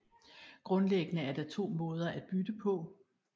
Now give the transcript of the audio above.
Grundlæggende er der to måder at bytte på